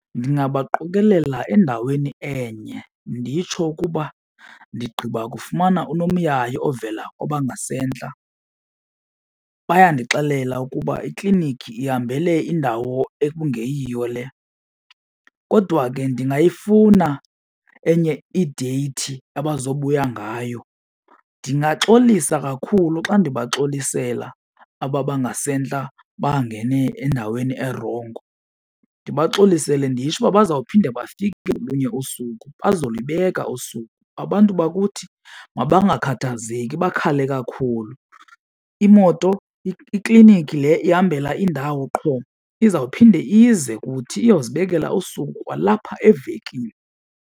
Ndingabaqokolela endaweni enye nditsho ukuba ndigqiba kufumana unomyayi ovela kwabangasentla. Bayandixelela ukuba ikliniki ihambele kwindawo ekungeyiyo le. Kodwa ke ndingayifuna enye ideyithi abazawubuya ngayo. Ndingaxolisa kakhulu xa ndibaxolisela aba abangasentla bangene endaweni erongo. Ndibaxolisele nditsho uba bazawuphinde bafike ngolunye usuku, bazolibeka usuku. Abantu bakuthi makangakhathazeki bakhale kakhulu. Imoto ikliniki le ihambela indawo qho izawuphinda ize kuthi, iyawuzibekela usuku kwalapha evekini.